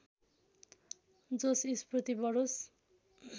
जोश स्फूर्ति बढोस्